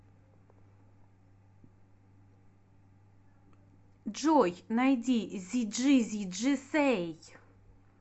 джой найди зиджизиджи сэй